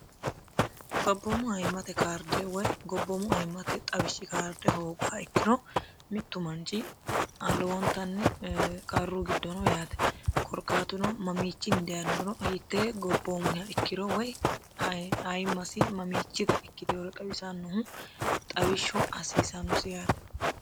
gobboomu ayimate karde woy gobboomu ayimmate xawishshi kaarde hoogoha ikkiro mittu manchi lowontanni qarru giddo no yaate korkaatuno mamiichinni dayinorono hiitte gobboomuha ikkiro woy ayimmasi mamiichita ikkitewolo xawisannohu xawishshu hasiisannosi yaate